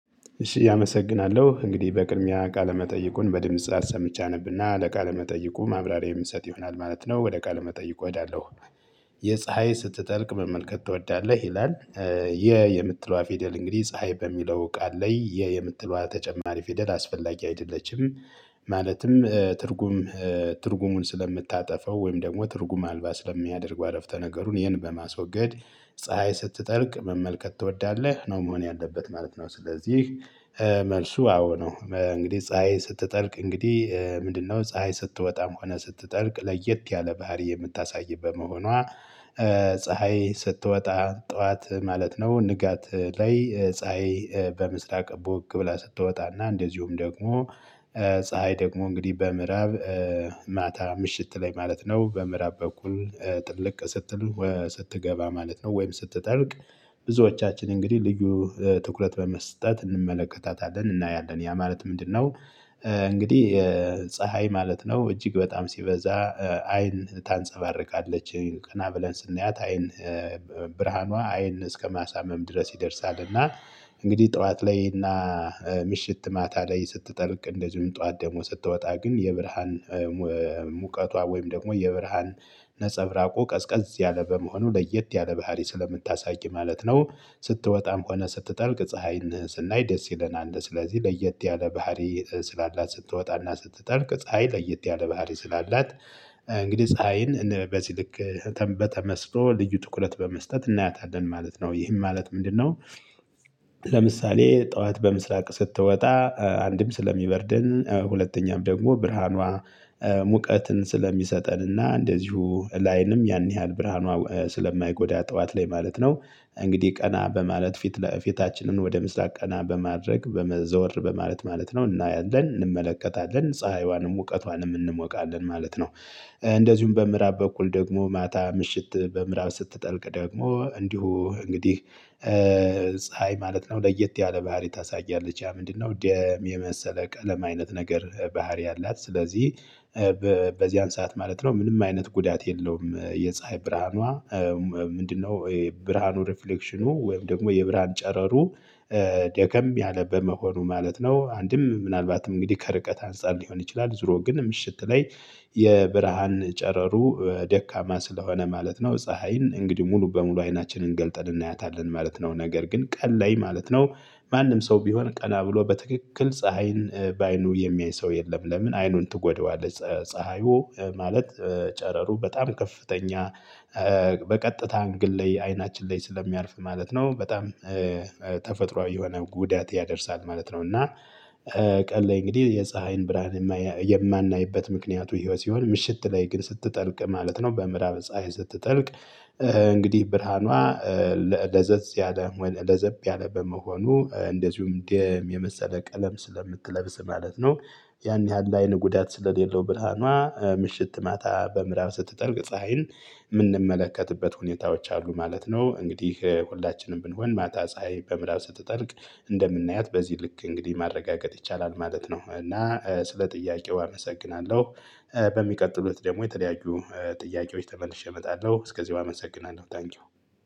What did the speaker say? እሺ አመሰግናለሁ እንግዲህ በቅድሚያ ቃለ መጠይቁን በድምጽ አሰምቼ አነብና ለቃለ መጠይቁ ማብራሪያ የምትሰጥ ይሆናል ማለት ነው ወደ ቃለ መጠይቁ እሄዳለሁ። የፀሀይ ስትጠልቅ መመልከት ትወዳለህ ይላል? የ የምትለዋ ፊደል እንግዲህ ፀሀይ በሚለው ቃል ላይ የ የምትለዋ ተጨማሪ ፊደል አስፈላጊ አይደለችም። ማለትም ትርጉም ትርጉሙን ስለምታጠፋው ወይም ደግሞ ትርጉም አልባ ስለሚያደርጉ አረፍተ ነገሩን ይህን በማስወገድ። ፀሀይ ስትጠልቅ መመልከት ትወዳለህ ነው መሆን ያለበት ማለት ነው። ስለዚህ መልሱ አዎ ነው። እንግዲህ ፀሀይ ስትጠልቅ እንግዲህ። ምንድነው ፀሀይ ስትወጣም ሆነ ስትጠልቅ ለየት ያለ ባህሪ የምታሳይበት መሆኗ። ፀሀይ ስትወጣ ጠዋት ማለት ነው። ንጋት ላይ ፀሀይ በምስራቅ ቡግ ብላ ስትወጣና እንደዚሁም ደግሞ። ፀሀይ ደግሞ እንግዲህ በምዕራብ ማታ ምሽት ላይ ማለት ነው በምዕራብ በኩል ጥልቅ ስትል ስትገባ ማለት ነው። ወይም ስትጠልቅ። ብዙዎቻችን እንግዲህ ልዩ ትኩረት በመስጠት እንመለከታታለን እናያለን ያ ማለት ምንድነው? እንግዲህ ፀሀይ ማለት ነው። እጅግ በጣም ሲበዛ አይን ታንፀባርቃለች ቀና ብለን ስናያት አይን ብርሃኗ አይን እስከማሳመም ድረስ ይደርሳል። እና እንግዲህ ጠዋት ላይ እና ምሽት ማታ ላይ ስትጠልቅ እንደዚሁም ጠዋት ስትወጣ ግን የብርሃን ሙቀቷ ወይም ደግሞ የብርሃን ነፀብራቁ ቀዝቀዝ ያለ በመሆኑ ለየት ያለ ባህሪ ስለምታሳይ ማለት ነው። ስትወጣም ሆነ ስትጠልቅ ፀሀይን ስናይ ደስ ይለናል እንደ ስለዚህ ለየት ያለ ባህሪ ስላላት ስትወጣና ስትጠርቅ ፀሀይ ለየት ያለ ባህሪ ስላላት። እንግዲህ ፀሀይን በዚህ ልክ በተመስጦ ልዩ ትኩረት በመስጠት እናያታለን ማለት ነው። ይህን ማለት ምንድነው? ለምሳሌ ጠዋት በምስራቅ ስትወጣ አንድም ስለሚበርደን ሁለተኛም ደግሞ ብርሃኗ ሙቀትን ስለሚሰጠን እና እንደዚሁ ላይንም ያን ያህል ብርሃኗ ስለማይጎዳ ጠዋት ላይ ማለት ነው። እንግዲህ ቀና በማለት ፊት ለፊታችንን ወደ ምስራቅ ቀና በማድረግ በመዘወር በማለት ማለት ነው እናያለን እንመለከታለን ፀሀይዋንም ሙቀቷንም እንሞቃለን ማለት ነው። እንደዚሁም በምዕራብ በኩል ደግሞ ማታ ምሽት በምዕራብ ስትጠልቅ ደግሞ እንዲሁ እንግዲህ። ፀሀይ ማለት ነው ለየት ያለ ባህሪ ታሳያለች ያ ምንድነው? ደም የመሰለ ቀለም አይነት ነገር ባህሪ አላት ስለዚህ። በዚያን ሰዓት ማለት ነው ምንም አይነት ጉዳት የለውም። የፀሀይ ብርሃኗ ምንድነው የብርሃኑ ሪፍሌክሽኑ ወይም ደግሞ የብርሃን ጨረሩ። ደከም ያለ በመሆኑ ማለት ነው አንድም ምናልባትም እንግዲህ ከርቀት አንፃር ሊሆን ይችላል። ዙሮ ግን ምሽት ላይ የብርሃን ጨረሩ ደካማ ስለሆነ ማለት ነው። ፀሀይን እንግዲህ ሙሉ በሙሉ አይናችንን ገልጠን እናያታለን ማለት ነው። ነገር ግን ቀን ላይ ማለት ነው። ማንም ሰው ቢሆን ቀና ብሎ በትክክል ፀሀይን በአይኑ የሚያይ ሰው የለም። ለምን አይኑን ትጎደዋለች። ፀሀዩ ማለት ጨረሩ በጣም ከፍተኛ። በቀጥታ አንግል ላይ አይናችን ላይ ስለሚያርፍ ማለት ነው በጣም ተፈጥሮአዊ የሆነ ጉዳት ያደርሳል ማለት ነው። እና ቀን ላይ እንግዲህ የፀሀይን ብርሃን የማናይበት ምክንያቱ ህይወት ሲሆን ምሽት ላይ ግን ስትጠልቅ ማለት ነው በምዕራብ ፀሀይ ስትጠልቅ። እንግዲህ ብርሃኗ ለዘዝ ያለ ለዘብ ያለ በመሆኑ እንደዚሁም ደም የመሰለ ቀለም ስለምትለብስ ማለት ነው። ያን ያህል አይን ጉዳት ስለሌለው ብርሃኗ ምሽት ማታ በምዕራብ ስትጠልቅ ፀሀይን የምንመለከትበት ሁኔታዎች አሉ ማለት ነው። እንግዲህ ሁላችንም ብንሆን ማታ ፀሀይ በምራብ ስትጠልቅ እንደምናያት በዚህ ልክ እንግዲህ ማረጋገጥ ይቻላል ማለት ነው። እና ስለ ጥያቄው አመሰግናለሁ። በሚቀጥሉት ደግሞ የተለያዩ ጥያቄዎች ተመልሼ እመጣለሁ እስከዚህ አመሰግናለሁ ታንኪው።